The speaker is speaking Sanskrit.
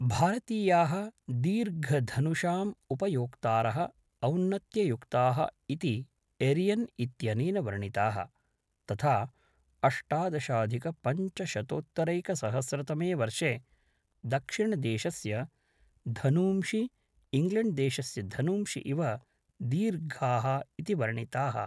भारतीयाः दीर्घधनुषाम् उपयोक्तारः औन्नत्ययुक्ताः इति एरियन् इत्यनेन वर्णिताः, तथा अष्टादशाधिकपञ्चशतोत्तरैकसहस्रतमे वर्षे दक्षिणदेशस्य धनूंषि इङ्ग्लेण्ड्देशस्य धनूंषि इव दीर्घाः इति वर्णिताः।